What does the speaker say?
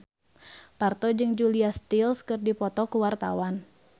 Parto jeung Julia Stiles keur dipoto ku wartawan